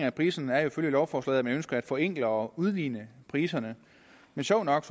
af prisen er ifølge lovforslaget at man ønsker at forenkle og udligne priserne men sjovt nok